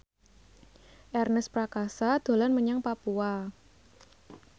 Ernest Prakasa dolan menyang Papua